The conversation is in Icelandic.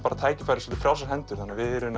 tækifæri svolítið frjálsar hendur þannig að við